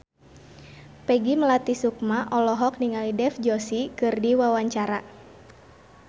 Peggy Melati Sukma olohok ningali Dev Joshi keur diwawancara